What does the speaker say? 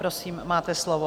Prosím, máte slovo.